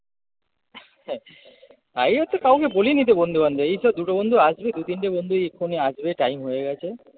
কাউকে বলিনি তো বন্ধু বান্ধব এইতো দুটো বন্ধু আসবে দু তিনটে বন্ধু এক্ষুনি আসবে time হয়ে গেছে